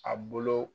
A bolo